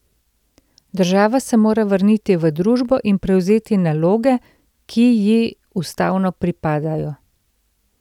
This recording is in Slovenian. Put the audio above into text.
Država se mora vrniti v družbo in prevzeti naloge, ki ji ustavno pripadajo.